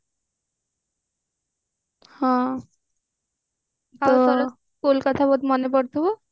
ହଁ school କଥା ବହୁତ ମନେ ପଡୁଥିବ